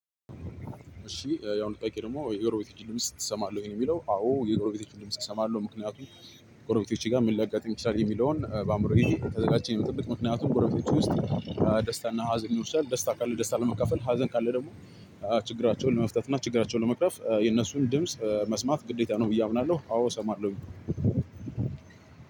እሺ ያው ጥያቄ ደግሞ የጎረቤቶችህን ድምጽ ትሰማለህ ወይ? ነው የሚለው አዎ የጎረቤቶችን ድምጽ እሰማለሁ ምክንያቱም ጎረቤቶቼ ጋር ምን ሊያጋጥም ይችላል የሚለውን በአእምሮዬ ተዘጋችቼ ነው የምጠብቅ። ምክንያቱም ጎረቤቶች ውስጥ ደስታና ሀዘን ይወስዳል ደስታ ካለ ደስታ ለመካፈል ሀዘን ካለ ደግሞ ችግራቸውን ለመፍታት እና ችግራቸውን ለመቅረፍ የነሱን ድምጽ መስማት ግዴታ ነው። ብዬ አምናለሁ አዎ እሰማለሁኝ።